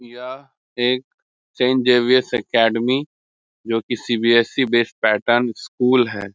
यह एक saint Xavier's academy है जो की सी.बी.एस.ई. बेस्ड पैटर्न स्कूल है ।